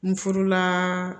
N furula